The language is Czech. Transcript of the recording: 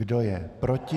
Kdo je proti?